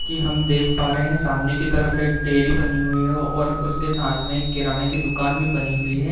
कि हम देख पा रहे हैं सामने की तरफ एक डेयरी बनी हुई है और उसके साथ में एक किराने की दुकान भी बनी हुई है।